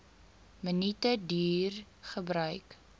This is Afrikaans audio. minute duur gebruik